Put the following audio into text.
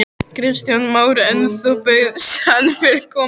Kristján Már: En þú bauðst hann velkomin?